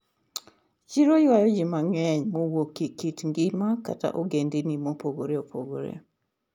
Chiro ywayoji mang'eny mawuok e kit ngima koda ogendini mopogore opogore.